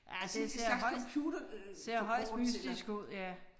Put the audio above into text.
Ja det ser højst ser højst mystisk ud ja